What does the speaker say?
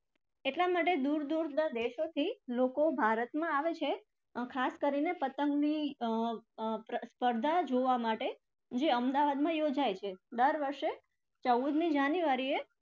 એટલા માટે દુર દુરના દેશોથી લોકો ભારતમાં આવે છે ખાસ કરીને પતંગની અર સ્પર્ધા જોવા માટે જે અમદાવાદમાં યોજાય છે. દર વર્ષે ચૌદમી january એ